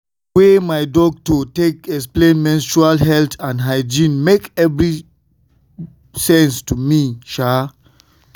the way way my doctor take explain menstrual health and hygiene make everything make sense to me.